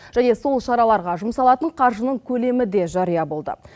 және сол шараларға жұмсалатын қаржының көлемі де жария болды